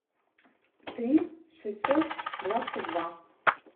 три шестьсот двадцать два